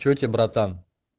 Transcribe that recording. что у тебя братан